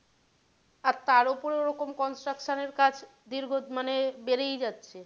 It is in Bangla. আর তার ওপরে ওরকম construction এর কাজ দীর্ঘ মানে বেড়েই যাচ্ছে।